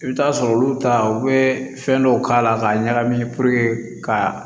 I bɛ taa sɔrɔ olu ta u bɛ fɛn dɔw k'a la k'a ɲagami ka